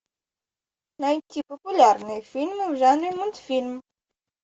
найти популярные фильмы в жанре мультфильм